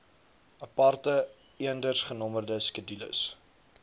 aparte eendersgenommerde skedules